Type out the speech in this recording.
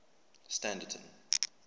standerton